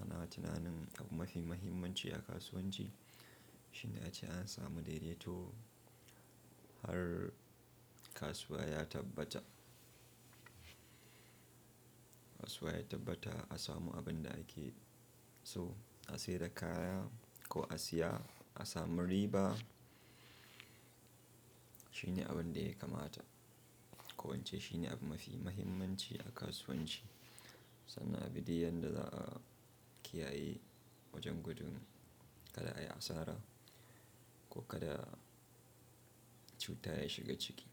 ana tunanin abu mafi muhimmanci a kasuwanci shine ace an samu daidaito har kasuwa ya tabbata. Kasuwa ya tabbata a samu abin da ake so, a sai da kaya ko a siya, a samu riba shine abin da ya kamata. Ko ince shine abu mafi muhimmanci a kasuwanci sannan abi diyyan da za a kiyaye wajen gudun kada ai asara ko kada cuta ya shiga ciki.